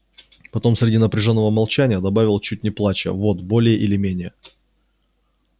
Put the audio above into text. потом среди напряжённого молчания добавил чуть не плача вот более или менее